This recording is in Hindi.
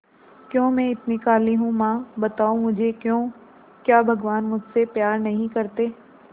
क्यों मैं इतनी काली हूं मां बताओ मुझे क्यों क्या भगवान मुझसे प्यार नहीं करते